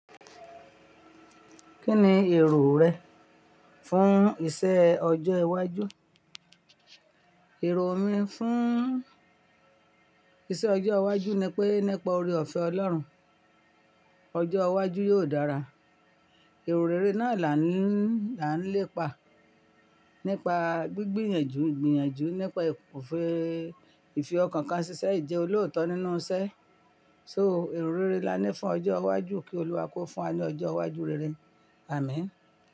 Kí ni èrò rẹ fún iṣẹ́ ọjọ́ iwájú? Èrò mi fún iṣẹ́ ọjọ́ iwájú ni pé nípa oore-ọ̀fẹ́ Ọlọ́run, ọjọ́ iwájú yóò dára. Ìrọ̀ré náà là ń lépa nípa gbígbìyànjú, gbìyànjú nípa ìfẹ́ ìfi ọkàn kan ṣiṣẹ́, ìjẹ́ olóòótọ́ nínú iṣẹ́. So ìrọ̀ré ni a ní fún ọjọ́ iwájú kí Olúwa kó fún wa ní ọjọ́ iwájú rere. Àmín.